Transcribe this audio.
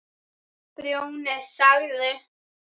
Grjóni sagði